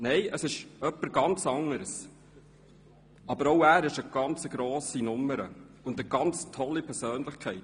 Nein, es ist jemand anderer, aber auch er ist eine ganz grosse Nummer und eine ganz tolle Persönlichkeit: